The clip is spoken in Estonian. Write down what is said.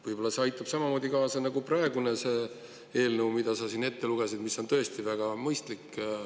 Võib-olla see aitaks samamoodi kaasa nagu praegune eelnõu, mille sa siin ette lugesid ja mis on tõesti väga mõistlik.